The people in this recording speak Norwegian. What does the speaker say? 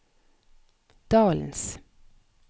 dalens